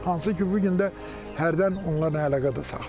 Hansı ki, bu gün də hərdən onlarla əlaqə də saxlayıram.